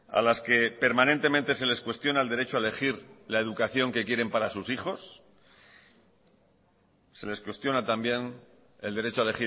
a las que permanentemente se les cuestiona el derecho a elegir la educación que quieren para sus hijos se les cuestiona también el derecho a